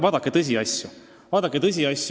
Vaadake tõsiasju!